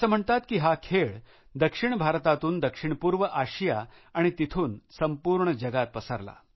असं म्हणतात की हा खेळ दक्षिण भारतातून दक्षिण पूर्व आशिया आणि तिथून संपूर्ण जगात पसरला